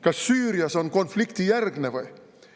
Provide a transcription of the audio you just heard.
Kas Süüria on konfliktijärgne või?